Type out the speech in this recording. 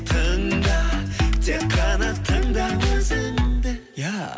тыңда тек қана тыңда өзіңді